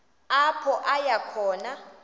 apho aya khona